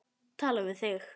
Tala við þig.